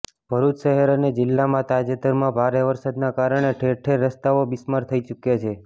ભરૃચ શહેર અને જિલ્લામાં તાજેતરમાં ભારે વરસાદના કારણે ઠેરઠેર રસ્તાઓ બિસ્માર થઈ ચુકયા છે